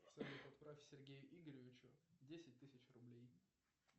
салют отправь сергею игоревичу десять тысяч рублей